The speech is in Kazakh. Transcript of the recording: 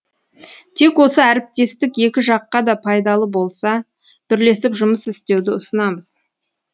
тек осы әріптестік екі жаққа да пайдалы болса бірлесіп жұмыс істеуді ұсынамыз